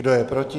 Kdo je proti?